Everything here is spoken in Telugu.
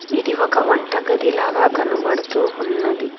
ఇది ఒక వంట గది లాగా కనబడుతూ ఉన్నది.